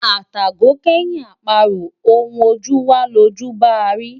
Atàgò kẹ́yin àparò, ohun ojú wá lojú ń bá a rí.